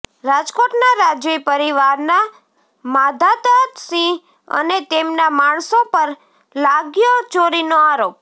રાજકોટના રાજવી પરિવારના માધાતાસિંહ અને તેમના માણસો પર લાગ્યો ચોરીનો આરોપ